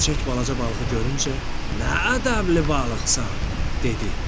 Xərçəng balaca balığı görüncə, “Nə ədəbli balıqsan?” dedi.